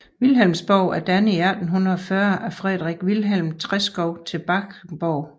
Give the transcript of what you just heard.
Vilhelmsborg er dannet i 1840 af Frederik Vilhelm Treschow til Brahesborg